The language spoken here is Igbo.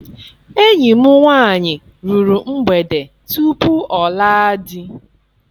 Enyi m nwaanyị ruru mgbede tupu ọ laa di.